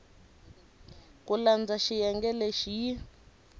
ku landza xiyenge lexi yi